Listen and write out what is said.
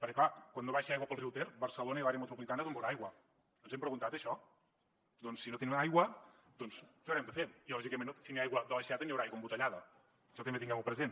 perquè clar quan no baixa aigua pel riu ter barcelona i l’àrea metropolitana d’on beuran aigua ens ho hem preguntat això doncs si no tenim aigua què haurem de fer i lògicament si no hi ha aigua de l’aixeta no hi haurà aigua embotellada això també tinguem ho present